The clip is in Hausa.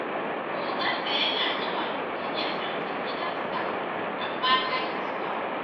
Oganta yana yawan gayyatar ta gidansa, amma ta ƙi zuwa.